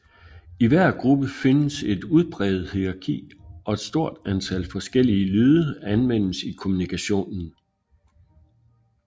I hver gruppe findes et udpræget hierarki og et stort antal forskellige lyde anvendes i kommunikationen